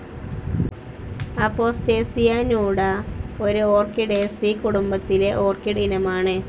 അപോസ്റ്റേസിയ നൂഡ ഒരു ഓർക്കിഡേസീ കുടുംബത്തിലെ ഓർക്കിഡ് ഇനമാണ്.